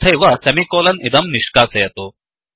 तथैव सेमिकोलन् इदं निष्कासयतु